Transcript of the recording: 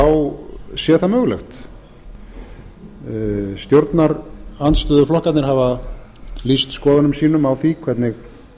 sé það mögulegt stjórnarandstöðuflokkarnir hafa lýst skoðunum sínum á því hvernig